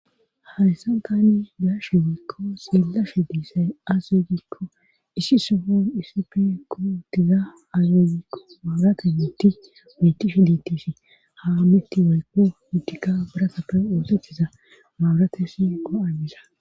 Hayssan tani be'ashe woykko xeelashe dizay aaze giiko issi sohon issippe utida mabirate miththay beetishe de'ees. Ha miththay biratappe oosetiza mabirate shiiquwa imiza